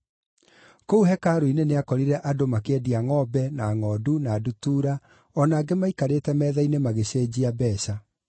Kũu hekarũ-inĩ nĩakorire andũ makĩendia ngʼombe, na ngʼondu, na ndutura, o na angĩ maikarĩte metha-inĩ magĩceenjia mbeeca.